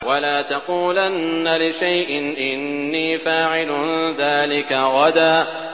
وَلَا تَقُولَنَّ لِشَيْءٍ إِنِّي فَاعِلٌ ذَٰلِكَ غَدًا